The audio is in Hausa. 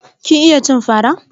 Kin iya cin fara?